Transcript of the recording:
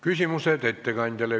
Küsimused ettekandjale.